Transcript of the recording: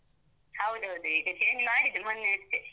ಹೌದೌದು, ಈಗ change ಮಾಡಿದ್ದು, ಮೊನ್ನೆಯಷ್ಟೆ.